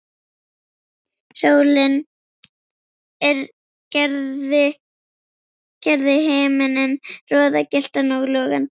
Sólin gerði himininn roðagylltan og logandi.